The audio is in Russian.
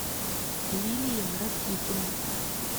лилия ракитина